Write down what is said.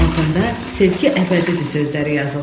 Altında sevgi əbədidir sözləri yazılmışdı.